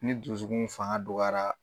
Ni dusukun fanka donyara